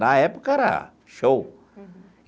Na época era show.